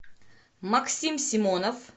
максим симонов